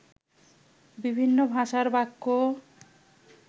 বিভিন্ন ভাষার বাক্য